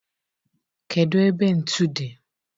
kedu ebe ntu dị?